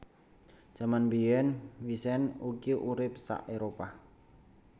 Jaman mbiyèn wisent iku urip sa Éropah